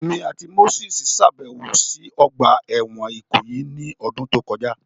Emi ati Moses ṣabẹwo si ogba ẹwọn Ikoyi ni ọdun to kọja